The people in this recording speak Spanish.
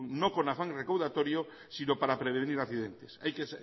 no con afán recaudatorio sino para prevenir accidentes hay que